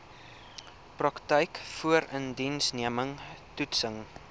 praktyk voorindiensneming toetsing